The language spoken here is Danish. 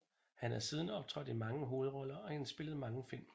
Han har siden optrådt i mange hovedroller og indspillet mange film